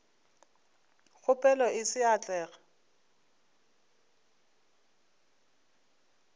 kgopelo e se ya atlega